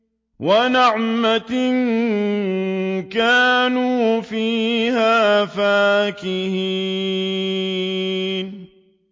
وَنَعْمَةٍ كَانُوا فِيهَا فَاكِهِينَ